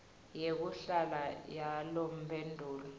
yekuhlala yalomphelo